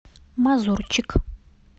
мазурчик